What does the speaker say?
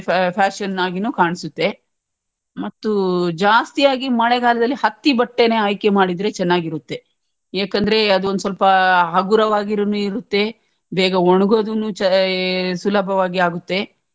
fashion ಆಗೀನು ಕಾಣ್ಸುತ್ತೆ ಮತ್ತೂ ಜಾಸ್ತಿ ಆಗಿ ಮಳೆಗಾಲದಲ್ಲಿ ಹತ್ತಿ ಬಟ್ಟೆನೇ ಆಯ್ಕೆ ಮಾಡಿದ್ರೇನೇ ಚನ್ನಾಗಿರುತ್ತೆ ಏಕೆಂದ್ರೆ ಅದೊಂದ್ ಸ್ವಲ್ಪ ಹಗುರವಾಗಿರುನು ಇರುತ್ತೆ ಬೇಗ ಒಣ್ಗೋದೋನು ಚಾ ಸುಲಭವಾಗಿ ಆಗುತ್ತೆ.